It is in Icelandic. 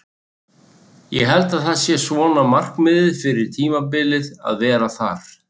Ég held að það sé svona markmiðið fyrir tímabilið að vera þar.